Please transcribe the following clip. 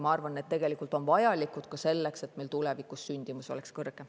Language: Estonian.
Ma arvan, et on tegelikult vajalikud selleks, et meil tulevikus oleks sündimus kõrgem.